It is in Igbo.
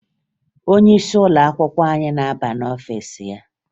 Onyeisi ụlọakwụkwọ anyị na-aba n'ọfiisi ya